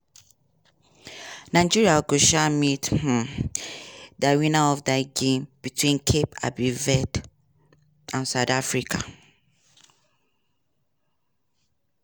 nigeria go um meet um di winner of di game between cape um verde and south africa.